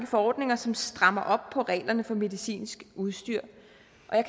forordninger som strammer op på reglerne for medicinsk udstyr